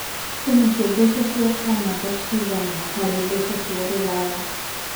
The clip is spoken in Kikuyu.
kwĩnacio mbeca cia kanada cigana harĩ mbeca cia rũraya